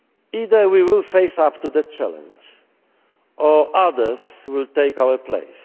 Either we will face up to the challenge, or others will take our